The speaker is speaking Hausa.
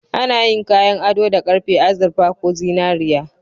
Ana yin kayan ado da karfe, azurfa ko zinariya.